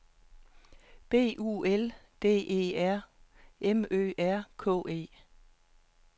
B U L D E R M Ø R K E